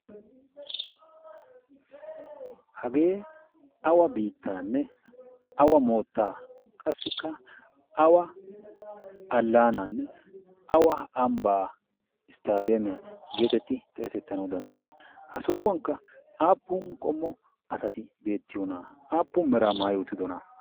hagee awa biittaanne awa moottaa qassikka awa allaanaanne awa ambbaa isttadeemiyaa geetetti xeesettanau danddayii? ha so7uwankka aappun qommo asati beettiyoona aappun meraa maayi uttidona?